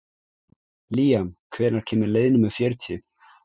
Líam, hvenær kemur leið númer fjörutíu?